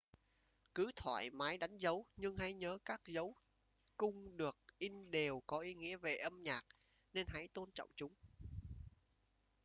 cứ thoải mái đánh dấu nhưng hãy nhớ các dấu cung được in đều có ý nghĩa về âm nhạc nên hãy tôn trọng chúng